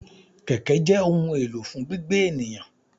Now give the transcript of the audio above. Kẹ̀kẹ́ jẹ́ ohun èlò fún gbígbé ènìyàn.